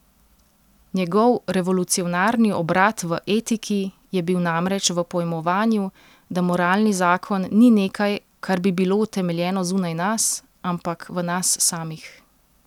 Njegov revolucionarni obrat v etiki je bil namreč v pojmovanju, da moralni zakon ni nekaj, kar bi bilo utemeljeno zunaj nas, ampak v nas samih.